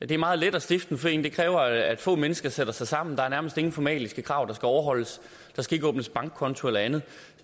det er meget let at stifte en forening det kræver at få mennesker sætter sig sammen der er nærmest ingen formelle krav der skal overholdes der skal ikke åbnes bankkonto eller andet